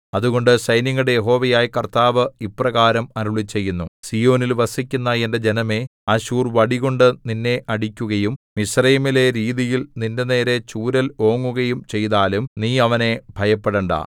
അതുകൊണ്ട് സൈന്യങ്ങളുടെ യഹോവയായ കർത്താവ് ഇപ്രകാരം അരുളിച്ചെയ്യുന്നു സീയോനിൽ വസിക്കുന്ന എന്റെ ജനമേ അശ്ശൂർ വടികൊണ്ടു നിന്നെ അടിക്കുകയും മിസ്രയീമിലെ രീതിയിൽ നിന്റെനേരെ ചൂരൽ ഓങ്ങുകയും ചെയ്താലും നീ അവനെ ഭയപ്പെടണ്ടാ